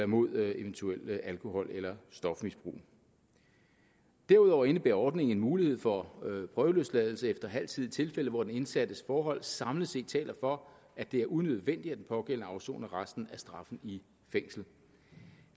mod et eventuelt alkohol eller stofmisbrug derudover indebærer ordningen en mulighed for prøveløsladelse efter halv tid i tilfælde hvor den indsattes forhold samlet set taler for at det er unødvendigt at den pågældende afsoner resten af straffen i fængsel